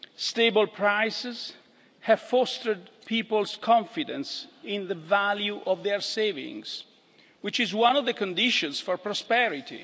Stable prices have fostered people's confidence in the value of their savings, which is one of the conditions for prosperity.